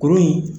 Kuru in